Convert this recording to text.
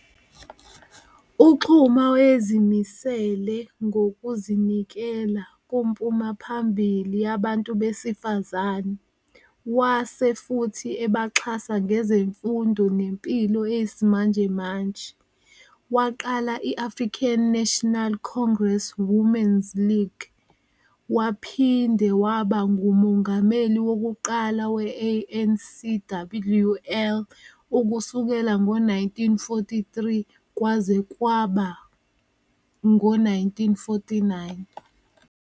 UXuma wayezimisele ngokuzinikela kumpumaphambili yabantu besifazane, wase futhi eba xhasa ngezemfundo nemphilo eyesimanje manje. Waqala iAfrican National Congress Women's league wapinde waba ngumongameli wokuqala weANCWL ukusukela ngo 1943 kwaze kwaba ngo 1949.